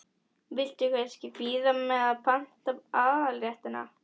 Viltu kannski bíða með að panta aðalréttina?